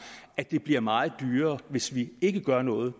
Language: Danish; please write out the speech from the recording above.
at det bliver meget dyrere hvis vi ikke gør noget